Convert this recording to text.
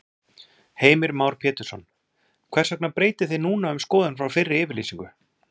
Heimir Már Pétursson: Hvers vegna breytið þið núna um skoðun frá fyrri yfirlýsingu?